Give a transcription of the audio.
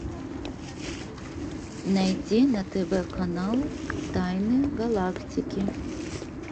найти на тв канал тайны галактики